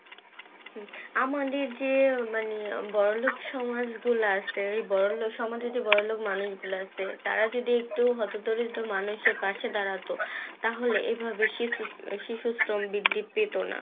হুম আমাদের যে মানে বড়োলোক সমাজ গুলো আছে বড়োলোক সমাজে যে বড়োলোক মানুষ গুলো আছে তারা যদি একটু হটোতড়িত মানুষের পাশে দাঁড়াতো তাহলে এইভাবে শিক্ষি শিক্ষিতন বৃদ্ধি পেতো না